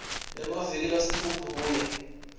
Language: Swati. emaviki lasitfupha kuya